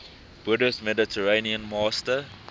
buddhist meditation master